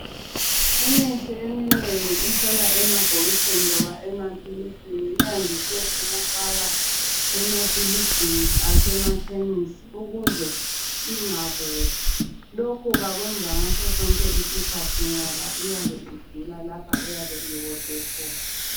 Umithi eminengi ihlala emabhokisini loba amaphilisini. Iyandise ukufaka emafilijini asemakhemisi ukuze ingaboli. Lokhu bakwenza ngasosonke isikhathi ngoba iyabe idula lapha eyabe iwodwe khona.